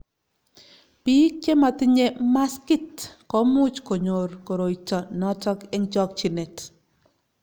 biik che matinyei maskit ko much konyoru koroito noto eng' chokchinet